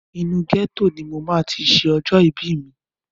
Inú ghetto ni mo máa ti ṣe ọjọ́ ìbí mi.